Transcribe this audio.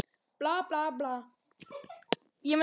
Bla, bla, bla.